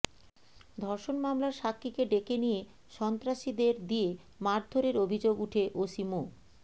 ধর্ষণ মামলার সাক্ষীকে ডেকে নিয়ে সন্ত্রাসীদের দিয়ে মারধরের অভিযোগ উঠে ওসি মো